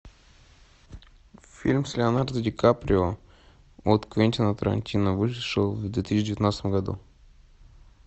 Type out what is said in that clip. фильм с леонардо ди каприо от квентина тарантино вышел в две тысячи девятнадцатом году